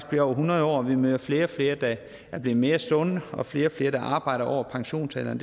bliver over hundrede år vi møder flere og flere der er blevet mere sunde og flere og flere der arbejder over pensionsalderen